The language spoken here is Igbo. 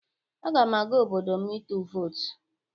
Aga m aga obodo m ịtụ vootụ.